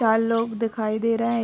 चार लोग दिखाई दे रहे हैं।